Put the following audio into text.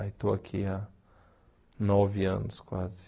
Aí estou aqui há nove anos, quase.